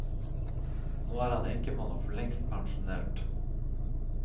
Nå er han enkemann og forlengst pensjonert.